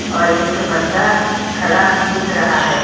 और एक बंदा खड़ा दिख रहा है।